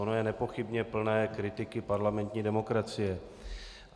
Ono je nepochybně plné kritiky parlamentní demokracie.